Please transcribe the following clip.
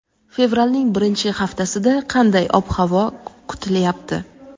Fevralning birinchi haftasida qanday ob-havo kutilyapti?.